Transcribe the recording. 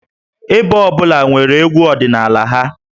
Ebo ọ bụla nwere egwú ọdịnala ha